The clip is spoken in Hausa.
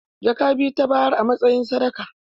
Jaka biyu ta bayar a matsayin sadaka.